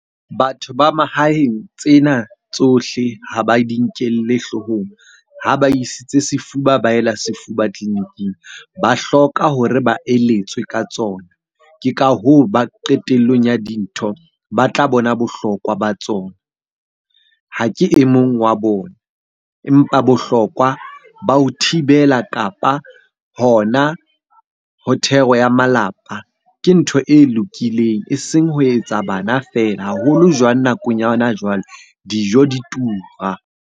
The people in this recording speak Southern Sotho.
Batho ba mahaeng tsena tsohle ha ba di nkelle hloohong ha ba isitse sefuba, ba ela sefuba tleliniking. Ba hloka hore ba eletswe ka tsona. Ke ka hoo ba qetellong ya dintho ba tla bona bohlokwa ba tsona. Ha ke e mong wa bona, empa bohlokwa ba ho thibela kapa hona ho thero ya malapa ke ntho e lokileng. Eseng ho etsa bana feela, haholo jwang nakong ya hona jwale dijo di tura.